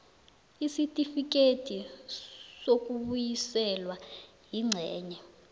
isitifikedi sokubuyiselwa ingcenye